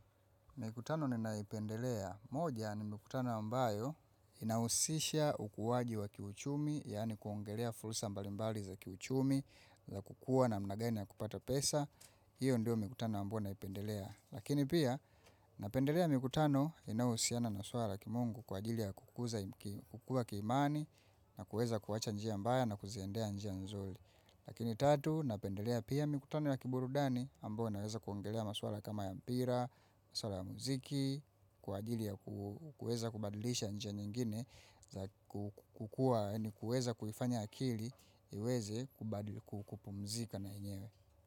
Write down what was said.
Mikutano ninaipendelea. Moja ni mikutano ambayo inausisha ukuwaji wa kiuchumi, yani kuongelea fulsa mbalimbali za kiuchumi, za kukua namna gani na kupata pesa. Hiyo ndio mikutano ambayo naipendelea. Lakini pia, napendelea mikutano inaohusiana na swala kimungu kwa ajili ya kukuza kukua kiimani na kuweza kuwacha njia mbaya na kuziendea njia nzuli. Lakini tatu, napendelea pia mikutano ya kiburudani, ambao naweza kuongelea maswala kama ya mpira, maswala ya muziki, kwa ajili ya kuweza kubadilisha njia nyingine, kukua ni kuweza kufanya akili, iweze kukupumzika na yenyewe.